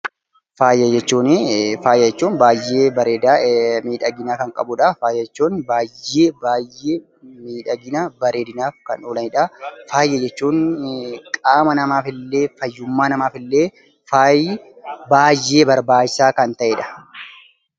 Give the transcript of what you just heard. Faaya jechuun baay'ee bareedaa, miidhigina kan qabudha. Faaya jechuun baay'ee baay'ee miidhaginaaf, bareedinaaf kan oolanidha. Faaya jechuun qaama namaafillee, fayyummaa namaafillee faayi baay'ee barbaachisaa kan ta'edha.